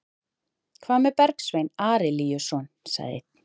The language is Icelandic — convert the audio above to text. Hvað með Bergsvein Arilíusson, sagði einn?